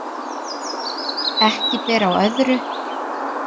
Ekki ber á öðru, sagði hann.